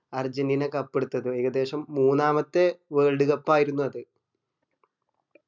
Argentina cup എടുത്തത് ഏകദേശം മൂന്നാമത്തെ world cup ആയിരുന്ന് അത്